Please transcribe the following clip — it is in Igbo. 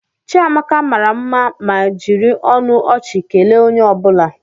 Chiamaka mara mma ma jiri ọnụ ọchị kelee onye ọ bụla.